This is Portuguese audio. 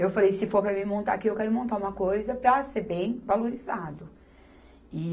Eu falei, se for para mim montar aqui, eu quero montar uma coisa para ser bem valorizado. E